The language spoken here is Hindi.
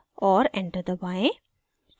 और enter दबाएं